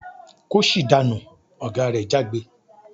"Kóṣì dànú!" Oga re jágbe.